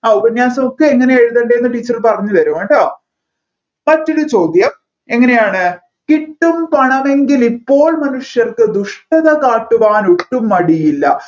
അ ഉപന്യാസം ഒക്കെ എങ്ങനെ എഴുതേണ്ടെന്ന് teacher പറഞ്ഞുതരും കേട്ടോ first ലെ ചോദ്യം എങ്ങനെയാണ് കിട്ടും പണമെങ്കിൽ ഇപ്പോൾ മനുഷ്യർക്ക് ദുഷ്ടത കാട്ടുവാൻ ഒട്ടും മടിയില്ല